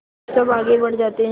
वह सब आगे बढ़ जाते हैं